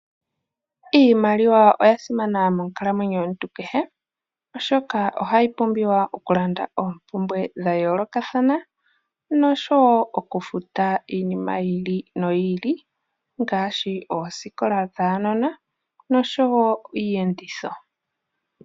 Iimaliwa oya simana monkalamwenyo yomuntu kehe, oshoka ohayi pumbiwa okulanda oompumbwe dha yoolokathana noshowo okufuta iinima yi ili noyi ili ngaashi oosikola dhaanona noshowo iiyenditho.